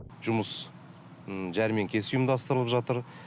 жұмыс жәрмеңкесі ұйымдастырылып жатыр